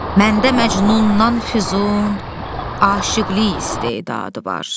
Məndə Məcnundan Füzun aşiqlik istedadı var.